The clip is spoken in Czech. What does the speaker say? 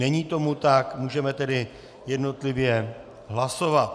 Není tomu tak, můžeme tedy jednotlivě hlasovat.